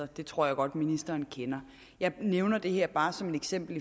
det tror jeg godt ministeren kender jeg nævner det her bare som et eksempel